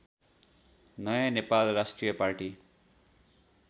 नयाँ नेपाल राष्ट्रिय पार्टी